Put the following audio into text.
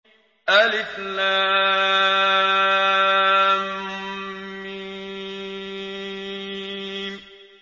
الم